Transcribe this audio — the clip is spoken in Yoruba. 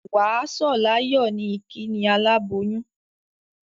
Wà á sọ̀ láyọ̀ ni ìkíni aláboyún.